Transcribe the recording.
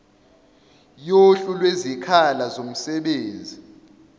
yohlu lwezikhala zomsebenzi